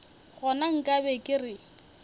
gona nka be ke re